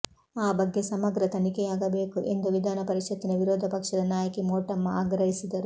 ಆ ಬಗ್ಗೆ ಸಮಗ್ರ ತನಿಖೆಯಾಗಬೇಕು ಎಂದು ವಿಧಾನ ಪರಿಷತ್ತಿನ ವಿರೋಧ ಪಕ್ಷದ ನಾಯಕಿ ಮೋಟಮ್ಮ ಆಗ್ರಹಿಸಿದರು